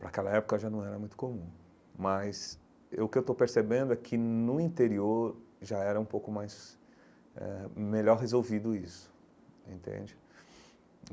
Para aquela época já não era muito comum, mas eu o que eu estou percebendo é que no interior já era um pouco mais... eh melhor resolvido isso, entende?